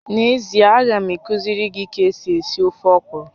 N'ezie, a ga m akuziri gi ka esi esi ofe ọkwụrụ